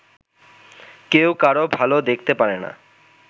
কেউ কারো ভালো দেখতে পারে না